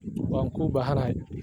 Waan kuubaxanahy.